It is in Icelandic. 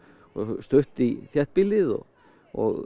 stutt í þéttbýlið og og